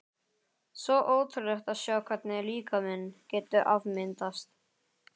Svo ótrúlegt að sjá hvernig líkaminn getur afmyndast.